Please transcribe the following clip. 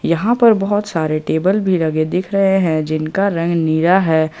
यहां पर बहुत सारे टेबल भी लगे दिख रहे हैं जिनका रंग नीरा है।